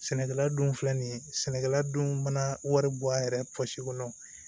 Sɛnɛkɛla dun filɛ nin ye sɛnɛkɛla don mana wari bɔ a yɛrɛ kɔnɔ